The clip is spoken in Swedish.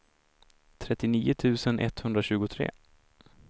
trettionio tusen etthundratjugotre